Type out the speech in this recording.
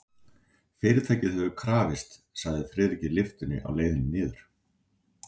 Fyrirtækið hefur krafist, sagði Friðrik í lyftunni á leiðinni niður.